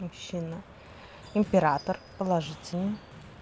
мужчина император положительный